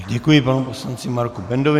Děkuji panu poslanci Marku Bendovi.